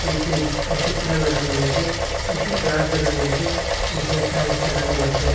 একটি AC cooler লাগানো রয়েসে কয়েকটি গ্লাস লাগানো রয়েসে নীচে টাইলস লাগানো রয়েসে।